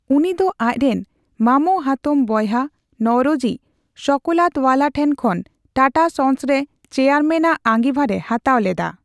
ᱩᱱᱤ ᱫᱚ ᱟᱡᱽᱨᱮᱱ ᱢᱟᱢᱳᱼᱦᱟᱛᱚᱢ ᱵᱚᱭᱦᱟ ᱱᱚᱣᱨᱳᱡᱤ ᱥᱚᱠᱞᱟᱛᱣᱟᱞᱟ ᱴᱷᱮᱱ ᱠᱷᱚᱱ ᱴᱟᱴᱟ ᱥᱚᱱᱥ ᱨᱮ ᱪᱮᱭᱟᱨᱢᱮᱱ ᱟᱜ ᱟᱸᱜᱤᱵᱷᱟᱨᱮ ᱦᱟᱛᱟᱣ ᱞᱮᱫᱟ ᱾